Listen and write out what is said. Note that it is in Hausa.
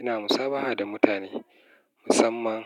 ina musabaha da mutane musamman